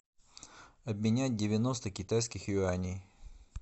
обменять девяносто китайских юаней